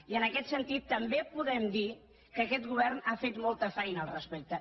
i en aquest sentit també podem dir que aquest govern ha fet molta feina al respecte